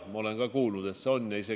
Ma olen kuulnud, et see on olemas.